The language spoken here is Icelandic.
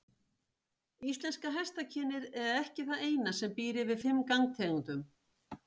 Íslenska hestakynið er ekki það eina sem býr yfir fimm gangtegundum.